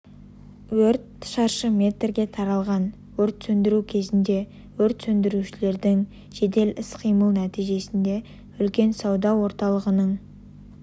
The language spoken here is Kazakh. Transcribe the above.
өрт шаршы метрге таралған өрт сөндіру кезінде өрт сөндірушілердің жедел іс-қимылы нәтижесінде үлкен сауда орталығының